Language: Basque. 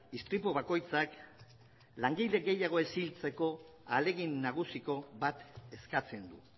istripu bakoitzak langile gehiago ez hiltzeko ahalegin nagusiko bat eskatzen du